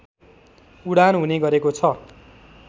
उडान हुने गरेको छ